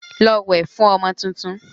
Lọ wẹ̀ fún ọmọ tuntun!